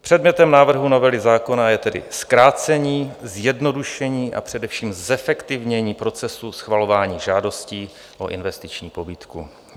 Předmětem návrhu novely zákona je tedy zkrácení, zjednodušení, a především zefektivnění procesu schvalování žádostí o investiční pobídku.